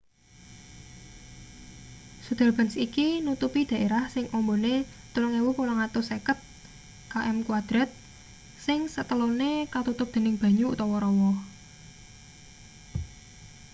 sundarbans iki nutupi daerah sing ambane 3.850 km² sing setelone katutup dening banyu/rawa